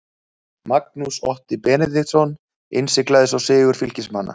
Magnús Otti Benediktsson innsiglaði svo sigur Fylkismanna.